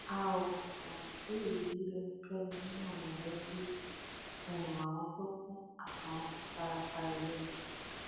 a ò um tí ì rí ẹnikẹni nínú mọlẹbí um àwọn tó kù àti àwọn tó fara pa yìí o